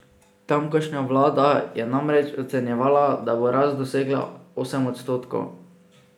Tamkajšnja vlada je namreč ocenjevala, da bo rast dosegla osem odstotkov.